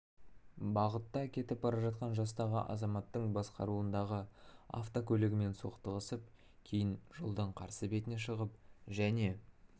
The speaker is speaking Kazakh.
бағытта кетіп бара жатқан жастағы азаматтың басқаруындағы автокөлігімен соқтығысып кейін жолдың қарсы бетіне шығып және